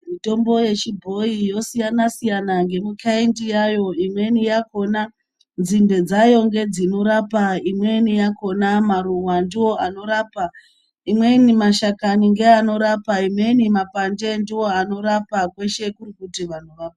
Mitombo yechibhoyi yosiyana siyana ngemukhaindi yayo imweni yakhona nzinde dzayo ngedzinorapa imweni yakhona maruwa ndoanorapa imweni mashakani ngeanorapa imweni mapande ndoanorapa.